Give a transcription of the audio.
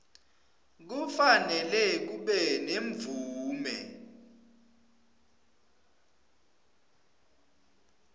kufanele kube nemvume